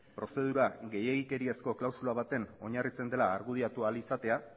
prozedura gehiegikeriazko klausula batean oinarritzen dela argudiatu ahal izatea